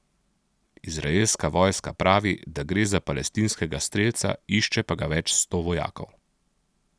Izraelska vojska pravi, da gre za palestinskega strelca, išče pa ga več sto vojakov.